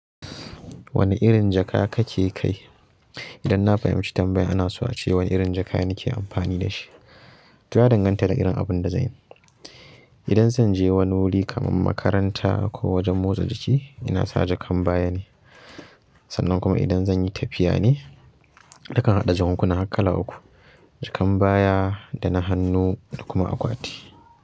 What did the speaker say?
Wane irin jaka kake kai? Idan na fahimci tambayan ana so a ce wani irin jaka nike amfani da shi, to ya danganta da irin abun da zanyi. Idan zanje wani wuri kamar makaranta ko wajen motsa jiki inasa jakan baya ne sannan kuma idan zanyi tafiya ne nakan haɗa jakunkuna har kala uku, jakan baya, da na hannu da kuma akwati.